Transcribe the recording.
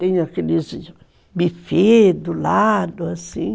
Tem aqueles bufês do lado, assim.